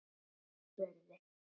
Jón spurði